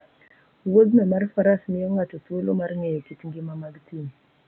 Wuodhno mar faras miyo ng'ato thuolo mar ng'eyo kit ngima mag thim.